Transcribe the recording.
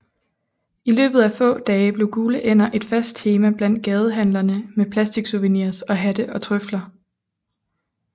I løbet af få dage blev gule ænder et fast tema blandt gadehandlerne med plastiksouvenirs og hatte og tøfler